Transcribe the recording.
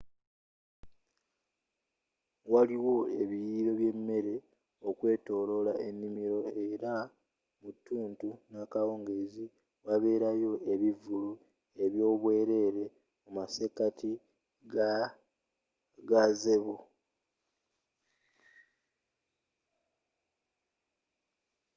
waliwo ebiriiro by'emmere okwetoloola ennimiro era mu tuuntu n'akawungeezi waberayo ebivvulu ebyobwerere mu masekati ga gazebo